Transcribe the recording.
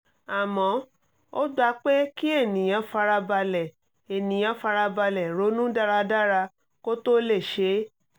àmọ́ ó gba pé kí ènìyàn fara balẹ̀ ènìyàn fara balẹ̀ ronú dáradára kó tó ó lè ṣe é